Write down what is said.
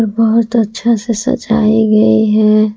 बहुत अच्छा से सजाई गई है।